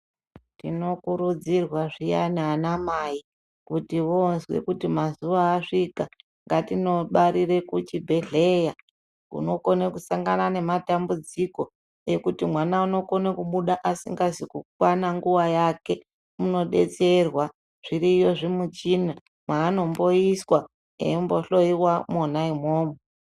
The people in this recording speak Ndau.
Tinokurudzirwa zviyani ana mai kutivo vazwe kuti mazuva asvika ngatinobarire kuchibhedhleya unokone kusangana nematambudziko, ekuti mwana unokona kubuda asingazi kukwana nguva yake. Unobetserwa zviriyo zvimuchina maanomboiswa eimbohloiwa mwona imwomwo.